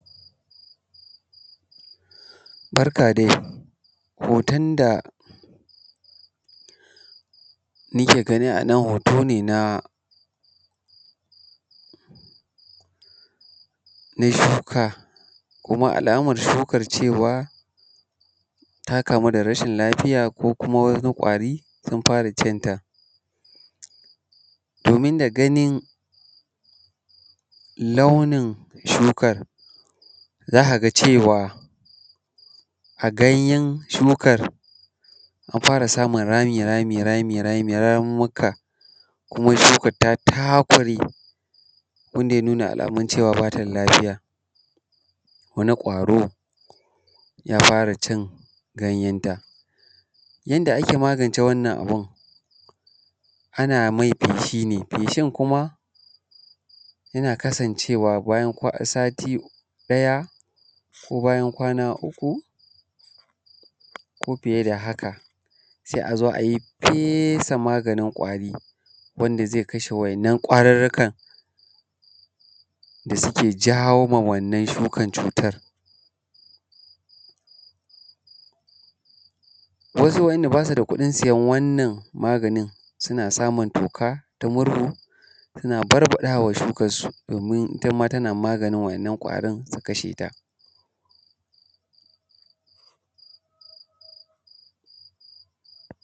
Barka dai hoton da muke gani a nan hoto ne na shuka, kuma alaman shukan cewa ta kamu da rashin lafiya, ko kuma wani ƙwari sun fara cinta. Domin da ganin launin shukan za ka ga cewa a ganyan shukan an fara samun rami rami ramunmuka, kuma shukar ta takure wanda ya nuna alaman cewa bata da lafiya wani ƙwaro ya fara cin ganyeta. Yanda ake magance wannan abun, ana mai feshi ne, feshin kuma yana kasancewa bayan sati ɗaya, ko bayan kwana uku, ko fiye da haka sai a zo a yi fesa maganin ƙwari wanda zai kashe wa’innan ƙwarurrukan da suke jawo ma wannan shukan cutar. Wasu wa’inda ba su da kuɗin siyan wannan maganin suna samun toka ta murhu suna barbaɗawa shukan su domin ita ma tana maganin wa'innan ƙwarin su kasheta.